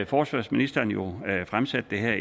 forsvarsministeren jo fremsat det her